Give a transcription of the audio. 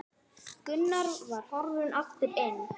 Gunnar var horfinn aftur inn.